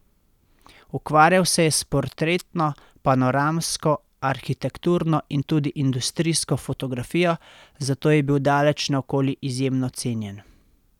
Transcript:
Ukvarjal se je s portretno, panoramsko, arhitekturno in tudi industrijsko fotografijo, zato je bil daleč naokoli izjemno cenjen.